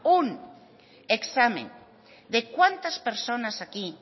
un examen de cuántas personas aquí